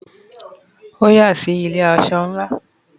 o ya si ile aso láàna